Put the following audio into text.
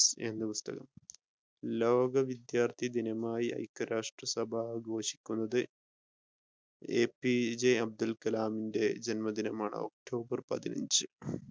എന്ന പുസ്തകം. ലോക വിദ്യാർത്ഥി ദിനമായി അയ്ക രാഷ്ട്രസഭ ആഘോഷിക്കുന്നത് എപിജെ അബ്ദുൽ കലാമിന്റെ ജന്മദിനമാണ് ഒക്ടോബർ പതിനഞ്ച്.